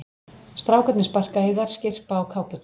Strákarnir sparka í þær, skyrpa á kápurnar.